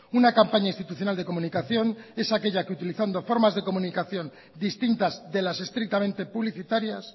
una campaña institucional de comunicación es aquella que utilizando formas de comunicación distintas de las estrictamente publicitarias